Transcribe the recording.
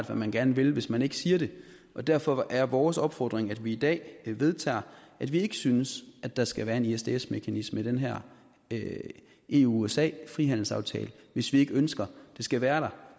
hvad man gerne vil hvis man ikke siger det derfor er vores opfordring at vi i dag vedtager at vi ikke synes at der skal være en isds mekanisme i den her eu usa frihandelsaftale hvis vi ikke ønsker den skal være der